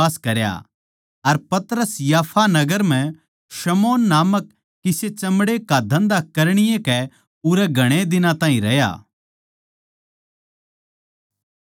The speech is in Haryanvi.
अर पतरस याफा नगर म्ह शमौन नामक किसे चमड़े का धन्धा करणीये कै उरै घणे दिनां ताहीं रहया